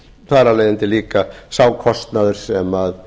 þar af leiðandi líka sá kostnaður sem